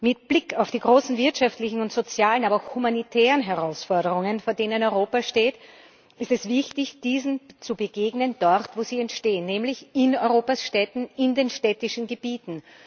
Mit Blick auf die großen wirtschaftlichen und sozialen, aber auch humanitären Herausforderungen, vor denen Europa steht, ist es wichtig, diesen dort zu begegnen, wo sie entstehen, nämlich in Europas Städten, in den städtischen Gebieten.